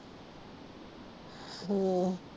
ਹਮ